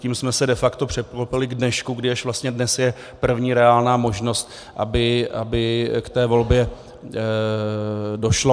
Tím jsme se de facto překlopili k dnešku, kdy až vlastně dnes je první reálná možnost, aby k té volbě došlo.